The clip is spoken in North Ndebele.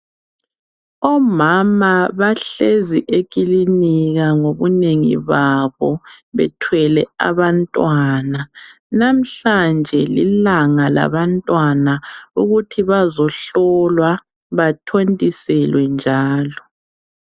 Omama bahlezi ekilinika ngobunengi babo bethwele abantwana. Namhlanje lilanga labantwana ukuthi bazohlolwa bathontiselwe njalo.